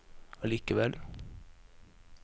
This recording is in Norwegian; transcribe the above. allikevel